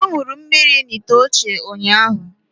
Ọ ṅụrụ mmiri n’ite ochie ụnyahụ